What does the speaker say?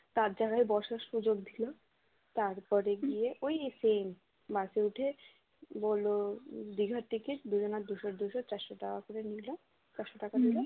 তার জায়গায় বসার সুযোগ দিল তারপরে গিয়ে ওই same bus এ উঠে বলল দিঘা ticket দুজনার দুইশ দুইশ চারশ টাকা করে নিয়ে যাও চারশ টাকা দিল